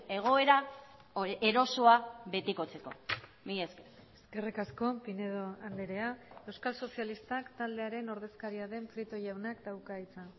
egoera erosoa betikotzeko mila esker eskerrik asko pinedo andrea euskal sozialistak taldearen ordezkaria den prieto jaunak dauka hitza